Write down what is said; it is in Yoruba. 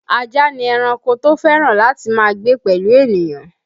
Ajá ni ẹranko tó fẹ́ràn láti máa gbé pẹ̀lú ènìyàn